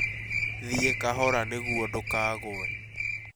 Thiĩ kahora nĩguo ndũkague